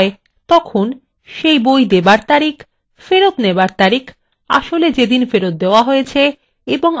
সেই বই দেবার তারিখ ফেরত নেবার তারিখ আসলে যেদিন ফেরত দেওয়া হয়েছে এবং আদৌ ফেরত দেওয়া হয়েছে কিনা সেই তথ্যগুলি থাকে